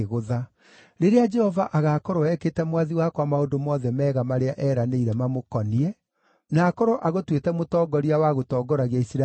Rĩrĩa Jehova agaakorwo ekĩte mwathi wakwa maũndũ mothe mega marĩa eeranĩire mamũkoniĩ, na akorwo agũtuĩte mũtongoria wa gũtongoragia Isiraeli-rĩ,